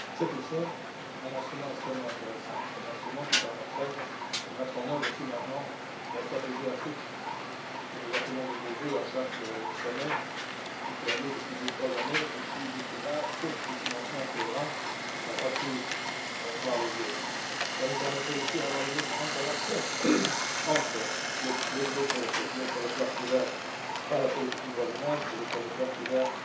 C'est au fond un instrument extrêmement intéressant car il permettrait de mettre en œuvre finalement la stratégie Afrique, que nous appelons de nos vœux à chaque sommet qui a lieu depuis deux ou trois années et qui, jusque là, faute de financement cohérent, n'a pas pu voir le jour. Cela nous permettrait aussi d'avoir une autre interaction entre les territoires couverts par la politique de voisinage et les territoires couverts